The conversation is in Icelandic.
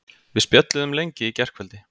Við spjölluðum lengi í gærkvöldi.